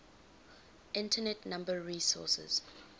internet number resources